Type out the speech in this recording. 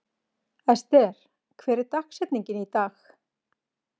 Ester, hver er dagsetningin í dag?